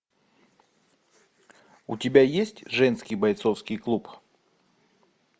у тебя есть женский бойцовский клуб